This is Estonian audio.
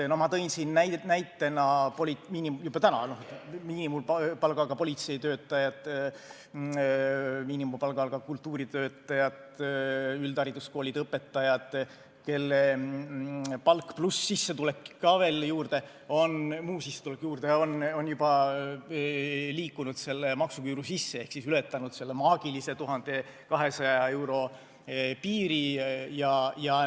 Ma tõin siin näitena miinimumpalgaga politseitöötajad, miinimumpalgaga kultuuritöötajad, üldhariduskoolide õpetajad, kelle palk pluss muu sissetulek ka veel juurde on juba liikunud selle maksuküüru sisse ehk ületanud selle maagilise 1200 euro piiri.